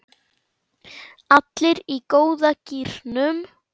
Allir í góða gírnum.